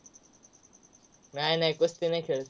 नाय, नाय. कुस्ती नाय खेळत.